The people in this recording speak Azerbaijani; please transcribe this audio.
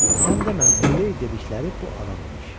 Sən demə, Muley dedikləri bu adam imiş.